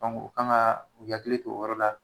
u kan kaa u yakili t'o yɔrɔ la